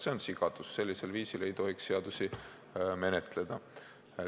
See on sigadus, sellisel viisil ei tohiks seadusi menetleda.